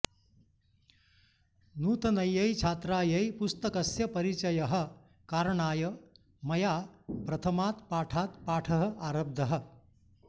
नूतनयै छात्रायै पुस्तकस्य परिचयः कारणाय मया प्रथमात् पाठात् पाठः आरब्धः